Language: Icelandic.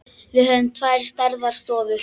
Við höfum tvær stærðar stofur.